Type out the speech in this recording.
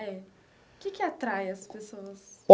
É, o que que atrai as pessoas?